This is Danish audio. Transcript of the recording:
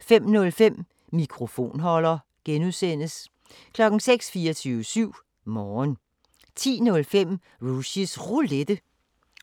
05:05: Mikrofonholder (G) 06:00: 24syv Morgen 10:05: Rushys Roulette